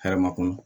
Hɛrɛ ma kɔnɔ